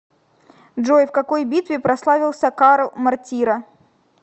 джой в какой битве прославился карл мортира